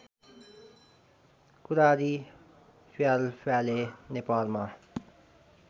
कुरारी फ्यालफ्याले नेपालमा